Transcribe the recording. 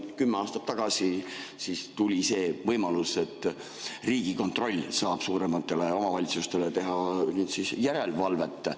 Kümme aastat tagasi siis tuli see võimalus, et Riigikontroll saab suuremate omavalitsuste üle järelevalvet teha.